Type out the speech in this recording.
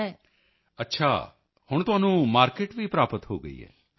ਹਾਂ ਮੈਨੂੰ ਅਮਰੀਕਾ ਤੋਂ ਵੀ ਆਰਡਰ ਮਿਲੇ ਹਨ ਅਤੇ ਉਹ ਇਸ ਨੂੰ ਜ਼ਿਆਦਾ ਮਾਤਰਾ ਚ ਖਰੀਦਣਾ ਚਾਹੁੰਦੇ ਹਨ ਪਰ ਇਸ ਤੋਂ ਮੈਂ ਯੂ